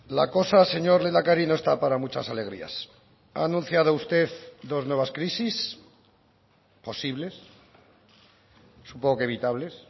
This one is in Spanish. la cosa señor lehendakari no está para muchas alegrías ha anunciado usted dos nuevas crisis posibles supongo que evitables